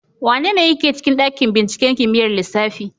Wanene yake cikin ɗaƙin ɓinciƙen kimiƴar lissafi.